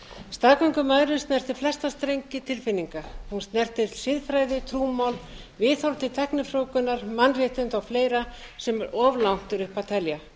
staðgöngumæðrun snertir flesta strengi tilfinninga hún snertir siðfræði trúmál viðhorf til tæknifrjóvgunar mannréttindi og fleira sem er of langt er upp að telja